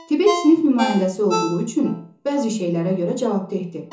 Tibb sinif nümayəndəsi olduğu üçün bəzi şeylərə görə cavabdehdir.